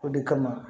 O de kama